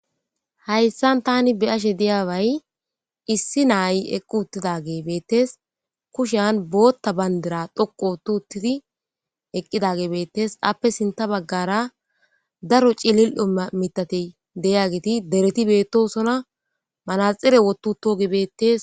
Hayssan tani beyashe diyaaway issi naayi eqqu uttidage beettes kushean bootta bandira dhoqo utu uttidi eqqidagebeettes appe sinta baggara daro cilil7oa mitati deyagiti dereti beettosona manaxire wotuto gebeettes.